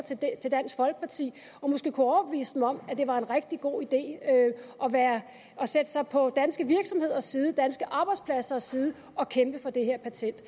til dansk folkeparti og måske kunne overbevise dem om at det var en rigtig god idé at stille sig på danske virksomheders side danske arbejdspladsers side og kæmpe for det her patent